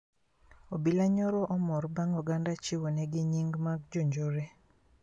Obila nyo omor bang` oganda ochiwo negi yinge mag jonjore